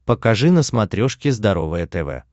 покажи на смотрешке здоровое тв